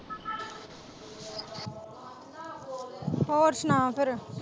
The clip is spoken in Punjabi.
ਹੋਰ ਸੁਣਾ ਫੇਰ।